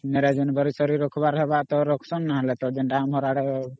ଜାନୁଆରୀ ସାରି ରଖବାର ହେବା ତ ରଖୁସନ ନହେଲେ ତା ଯେନ୍ତା ଆମର ଆଡେ ...